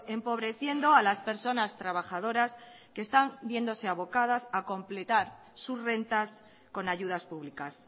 empobreciendo a las personas trabajadoras que están viéndose avocadas a completar sus rentas con ayudas públicas